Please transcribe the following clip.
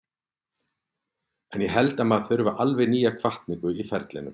En ég held að maður þurfi alltaf nýja hvatningu í ferilinn.